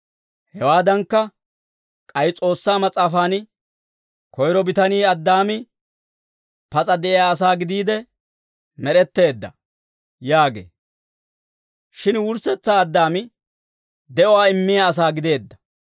Hawaadankka, k'ay S'oossaa Mas'aafan, «Koyro bitanii, Addaami, pas'a de'iyaa asaa gidiide med'etteedda» yaagee. Shin wurssetsaa Addaami de'uwaa immiyaa asaa gideedda.